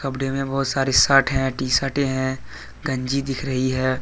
कपड़े मे बहुत सारे शर्ट हैं टी शर्टे हैं गंजी दिख रही है।